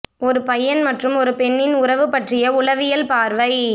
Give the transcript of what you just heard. ஒரு பையன் மற்றும் ஒரு பெண்ணின் உறவு பற்றிய உளவியல் பார்வை